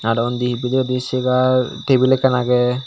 Aro undi bidirendi segar tebil ekkan agey.